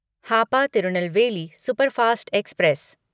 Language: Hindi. Hapa Tirunelveli superfast express